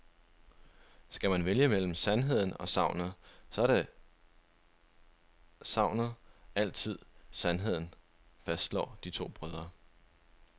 Skal man vælge mellem sandheden og sagnet, så er sagnet altid sandheden, fastslår de to brødre.